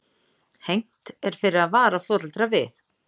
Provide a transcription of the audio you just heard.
Hegnt fyrir að vara foreldra við